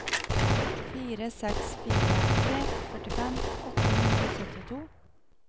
fire seks fire tre førtifem åtte hundre og syttito